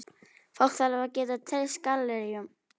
Fólk þarf að geta treyst galleríunum.